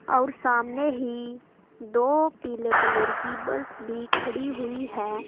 और सामने ही दो पीले कलर की बस खड़ी हुई है।